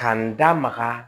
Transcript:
K'a n da maga